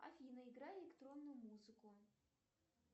афина играй электронную музыку